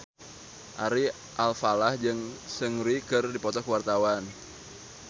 Ari Alfalah jeung Seungri keur dipoto ku wartawan